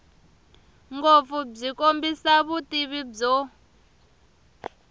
ngopfu byi kombisa vutivi byo